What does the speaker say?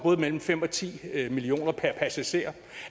mellem fem og ti million kroner per passager